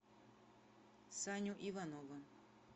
саню иванова